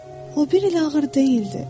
O bir elə ağır deyildi.